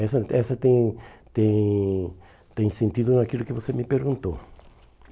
Essa essa tem tem tem sentido naquilo que você me perguntou.